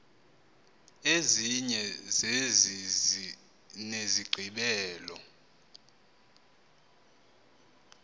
ezinye zezi zinesigqibelo